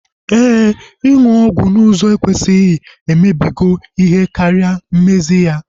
Éè, ịnụ ọgwụ n'ụzọ ekwesịghị emebigo ihe karịa mmezi ya